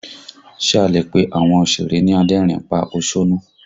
Ṣe a lè pe àwọn òsèré ni adẹ́rìn ín pa òṣónú?